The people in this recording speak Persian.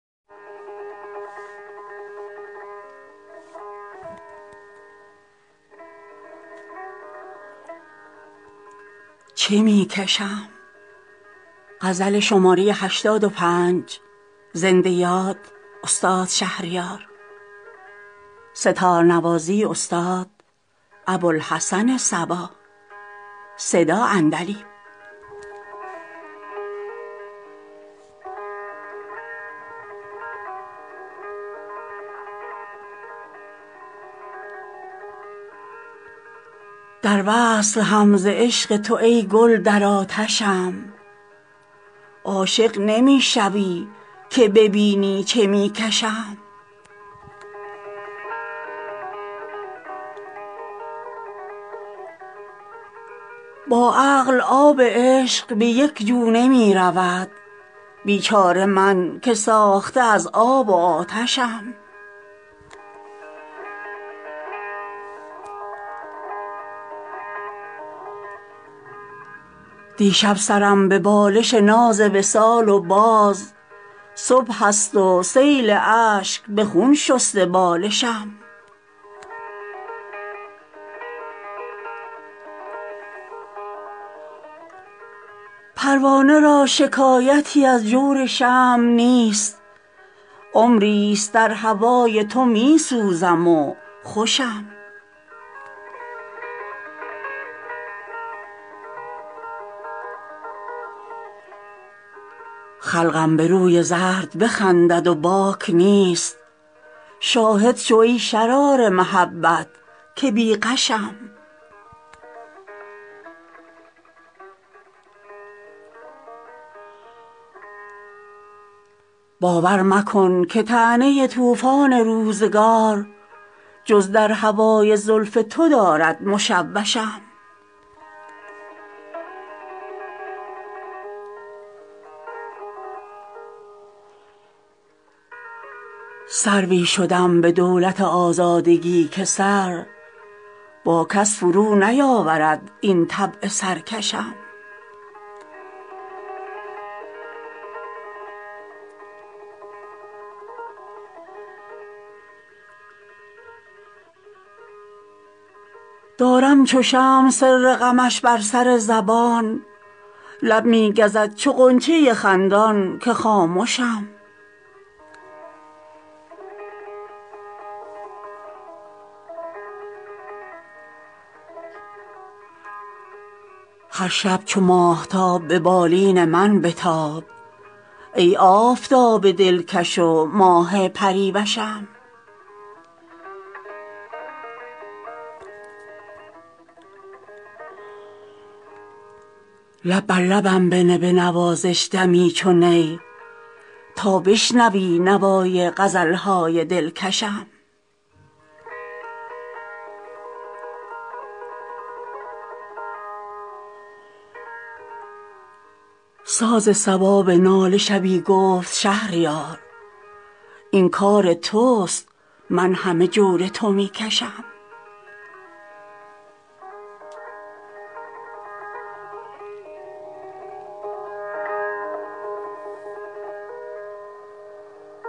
در وصل هم ز عشق تو ای گل در آتشم عاشق نمی شوی که ببینی چه می کشم با عقل آب عشق به یک جو نمی رود بیچاره من که ساخته از آب و آتشم دیشب سرم به بالش ناز وصال و باز صبح است و سیل اشک به خون شسته بالشم پروانه را شکایتی از جور شمع نیست عمری ست در هوای تو می سوزم و خوشم خلقم به روی زرد بخندند و باک نیست شاهد شو ای شرار محبت که بی غشم باور مکن که طعنه طوفان روزگار جز در هوای زلف تو دارد مشوشم سروی شدم به دولت آزادگی که سر با کس فرو نیاورد این طبع سرکشم دارم چو شمع سر غمش بر سر زبان لب می گزد چو غنچه خندان که خامشم هر شب چو ماهتاب به بالین من بتاب ای آفتاب دلکش و ماه پری وشم گر زیر پیرهن شده پنهان کنم تو را سحر پری دمیده به پیراهن کشم لب بر لبم بنه بنوازش دمی چو نی تا بشنوی نوای غزل های دلکشم ساز صبا به ناله شبی گفت شهریار این کار توست من همه جور تو می کشم